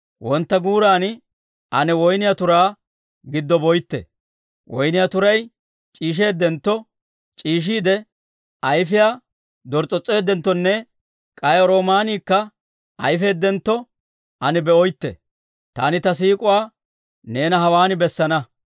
Wontta guuran ane woyniyaa turaa giddo boytte; woyniyaa turay c'iisheeddentto, c'iishshiide ayifiyaa dors's'os's'eedenttonne, k'ay roomaaniikka ayifeeddentto ane be'oytte. Taani ta siik'uwaa neena hewan bessana.